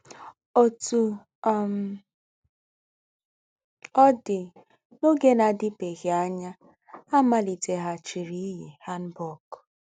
Òtú um ọ̀ dì, n’ógé nà-àdìbèéghí ànyá, à màlìtèghàchírì íyí hanbok.